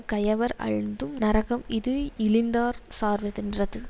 கயவர் அழுந்தும் நரகம் இது இழிந்தார் சார்வதென்றது